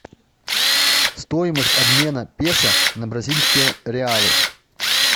стоимость обмена песо на бразильские реалы